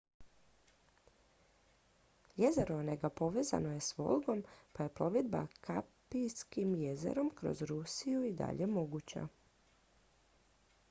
jezero onega povezano je i s volgom pa je plovidba kaspijskim jezerom kroz rusije i dalje moguća